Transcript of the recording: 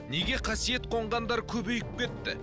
неге қасиет қонғандар көбейіп кетті